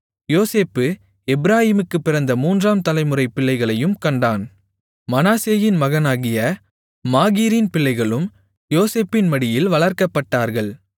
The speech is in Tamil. யோசேப்பு எப்பிராயீமுக்குப் பிறந்த மூன்றாம் தலைமுறைப் பிள்ளைகளையும் கண்டான் மனாசேயின் மகனாகிய மாகீரின் பிள்ளைகளும் யோசேப்பின் மடியில் வளர்க்கப்பட்டார்கள்